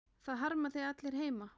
Það harma þig allir heima.